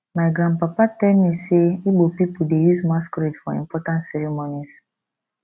my grandpapa tell me sey igbo pipo dey use masquerade for important ceremonies